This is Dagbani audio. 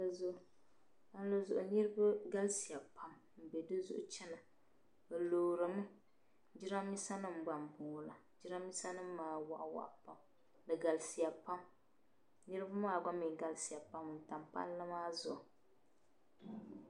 Palli zuɣu, palli maa zuɣu niribi galisiya pam n be di zuɣu n chana, bɛ lɔɔrinimi jiran bisa nim gba n bɔŋɔ la jiran bisa nim maa, waɣi waɣi pam di galisiya pam niribi maa mi gba galisiya pam, palli maa zuɣu.